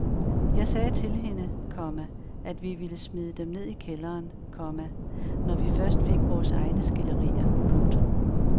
Jeg sagde til hende, komma at vi ville smide dem ned i kælderen, komma når vi først fik vores egne skilderier. punktum